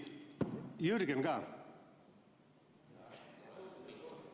Jürgen ka! ...